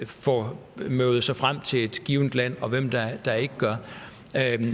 får møvet sig frem til et givet land og hvem der ikke gør